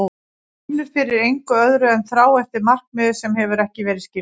Og þú finnur fyrir engu öðru en þrá eftir markmiði sem hefur ekki verið skilgreint.